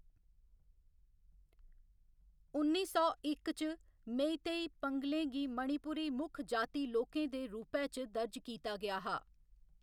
उन्नी सौ इक च, मेईतेई पंघलें गी मणिपुरी मुक्ख जाति लोकें दे रूपै च दर्ज कीता गेआ हा।